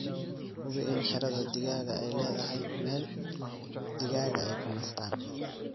Hubi in xiradhaa digaagu aay leedhahay meel ??digaaga ay ku nastaan.